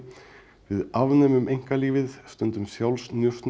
við afnemum einkalífið stundum